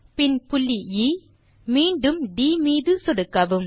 பின் புள்ளி எ மீண்டும் ட் மீது சொடுக்கவும்